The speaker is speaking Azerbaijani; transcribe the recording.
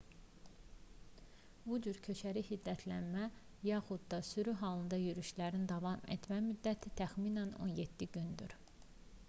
bu cür köçəri hiddətlənmə yaxud da sürü halında yürüşlərin davam etmə müddəti təxminən 17 gündür